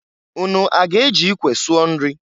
Unu aga-eji ikwe sụọ nri?